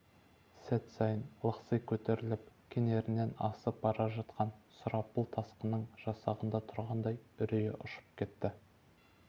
сәт сайын лықси көтеріліп кенерінен асып бара жатқан сұрапыл тасқынның жағасында тұрғандай үрейі ұшып кетті